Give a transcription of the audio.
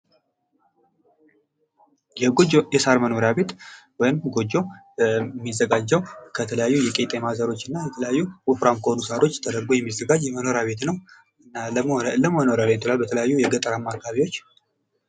የጎጆ የሳር መኖሪያ ቤት ወይም ጎጆ ሚዘጋጀው ከተለያዩ የቄጤማ ዘሮች እና ከተለያዩ ወፍራም ከሆኑ ሳሮች ተደርጎ ሚዘጋጅ መኖሪያ ቤት ነው ለመኖሪያ ቤት ይሆናል በተለያዩ የገጠራማ አካባቢዎች ።